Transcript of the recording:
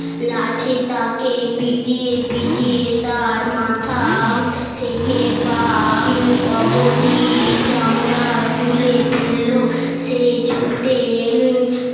লাঠি তাকে পিটিয়ে পিটিয়ে তার মাথা থেকে পা অবধি চামড়া তুলে ফেললো সে ছুটে